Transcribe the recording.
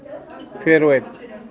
hver og einn